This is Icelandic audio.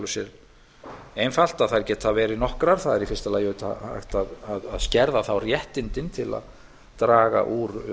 sér einfalt að þær geta verið nokkrarlausnar það er í fyrsta lagi um það að ætla að skerða þá réttindin til að draga úr